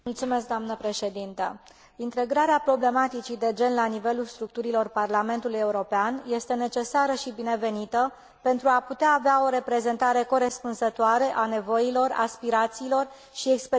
Integrarea problematicii de gen la nivelul structurilor Parlamentului European este necesară și binevenită, pentru a putea avea o reprezentare corespunzătoare a nevoilor, aspirațiilor și experiențelor întregii societăți.